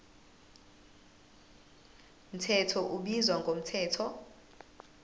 mthetho ubizwa ngomthetho